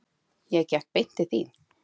Ég gekk beint til þín.